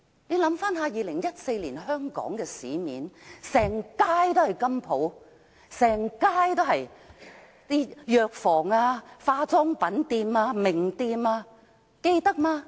回想2014年的香港，市面上隨處是金鋪、藥房、化妝品店和名店，大家還記得嗎？